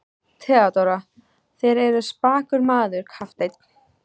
THEODÓRA: Þér eruð spakur maður, kafteinn.